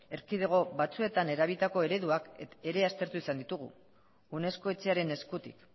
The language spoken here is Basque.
erkidego batzuetan erabilitako ereduak ere aztertu izan ditugu unesco etxearen eskutik